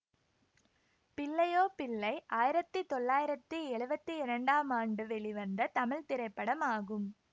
பிள்ளையோ பிள்ளை ஆயிரத்தி தொள்ளாயிரத்தி எழுவத்தி இரண்டாம் ஆண்டு வெளிவந்த தமிழ் திரைப்படமாகும்